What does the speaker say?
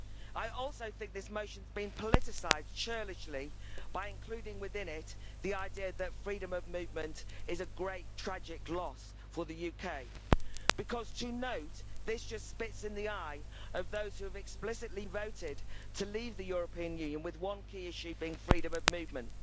I also think this motion has been politicised churlishly by including within it the idea that freedom of movement is a great tragic loss for the UK because to note this just spits in the eye of those who have explicitly voted to leave the European Union with one key issue being freedom of movement.